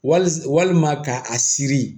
Wali walima ka a siri